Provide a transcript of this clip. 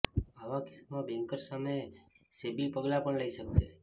આવા કિસ્સામાં બેન્કર્સ સામે સેબી પગલાં પણ લઈ શકશે